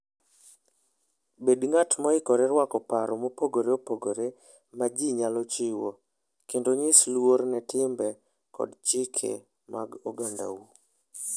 Bed ng'at moikore rwako paro mopogore opogore ma ji nyalo chiwo, kendo nyis luor ne timbe kod chike mag ogandau.